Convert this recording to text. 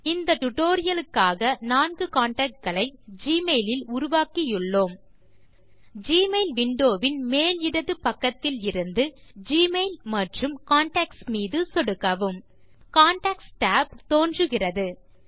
இந்த டியூட்டோரியல் க்காக 4 கான்டாக்ட் களை ஜிமெயில் இல் உருவாக்கியுள்ளோம் ஜிமெயில் விண்டோ வின் மேல் இடது பக்கத்திலிருந்து ஜிமெயில் மற்றும் கான்டாக்ட்ஸ் மீது சொடுக்கவும் கான்டாக்ட்ஸ் tab தோன்றுகிறது